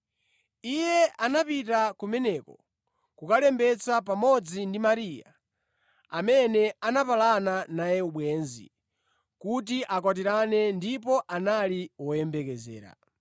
Iye anapita kumeneko kukalembetsa pamodzi ndi Mariya, amene anapalana naye ubwenzi kuti akwatirane ndipo anali woyembekezera.